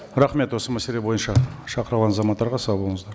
рахмет осы мәселе бойынша шақырылған азаматтарға сау болыңыздар